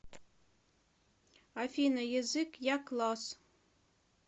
афина язык якласс